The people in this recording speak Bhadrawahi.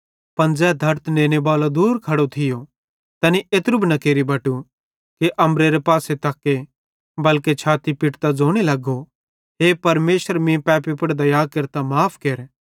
पन तै धड़त नेनेबालो ज़ै दूर खड़खड़ो थियो तैनी एत्रू भी न केरि बटु कि अम्बरेरे पासे तक्के बल्के छाती पिट्टतां ज़ोने लगो हे परमेशर मीं पैपी पुड़ दया केरतां माफ़ केर